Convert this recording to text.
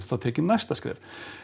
tekið næsta skref